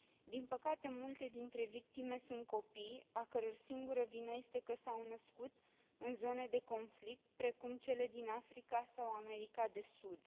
Din păcate, multe dintre victime sunt copii, a căror singură vină este că s au născut în zone de conflict, precum cele din Africa sau America de Sud.